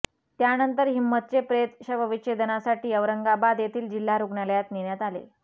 त्यानंतर हिंमतचे प्रेत शवविच्छेदनासाठी औरंगाबाद येथील जिल्हा रुग्णालयात नेण्यात आले